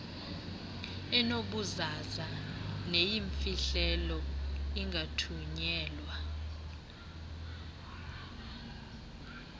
enobuzaza neyimfihlelo ingathunyelwa